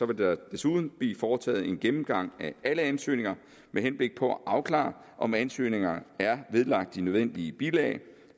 der desuden blive foretaget en gennemgang af alle ansøgninger med henblik på at afklare om ansøgningerne er vedlagt de nødvendige bilag